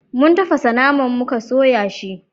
mun tafasa naman muka soya shi